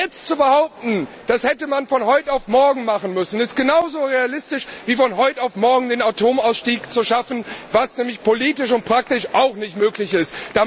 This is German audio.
Jetzt zu behaupten, das hätte man von heute auf morgen machen müssen, ist genauso realistisch, wie von heute auf morgen den Atomausstieg zu schaffen, was nämlich politisch und praktisch auch nicht möglich ist.